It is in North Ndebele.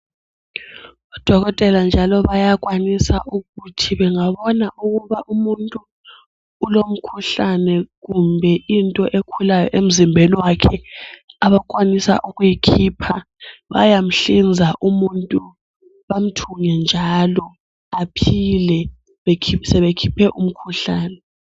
Odokotela njalo bayakwanisa ukuthi bengabona ukuba umuntu ulomkhuhlane kumbe into ekhulayo emzimbeni wakhe abakwanisa ukuyikhipha, bayamhlinza umuntu bamthunge njalo aphile sebekhiphe umkhuhlane .